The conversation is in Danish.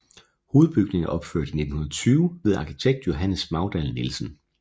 Hovedbygningen er opført i 1920 ved arkitekt Johannes Magdahl Nielsen